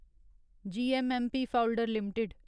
GMMP फाउडलर limited